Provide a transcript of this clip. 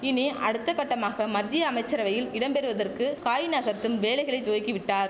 இனி அடுத்த கட்டமாக மத்திய அமைச்சரவையில் இடம் பெறுவதற்கு காய் நகர்த்தும் வேலைகளை துவக்கி விட்டார்